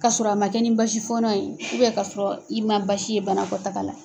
K 'a sɔrɔ a ma kɛ ni basi fɔnɔ ye k'a sɔrɔ i ma basi ye bana kɔtaga la.